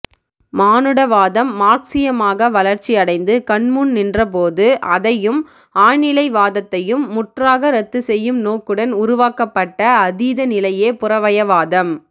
மானுடவாதம் மார்க்ஸியமாக வளர்ச்சி அடைந்து கண்முன் நின்றபோது அதையும் ஆழ்நிலைவாதத்தையும் முற்றாக ரத்துசெய்யும் நோக்குடன் உருவாக்கபப்ட்ட அதீத நிலையே புறவயவாதம்